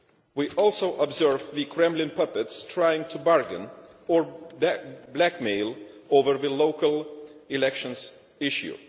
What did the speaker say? We also observe the Kremlin puppets trying to bargain, or blackmail, over the local elections issue.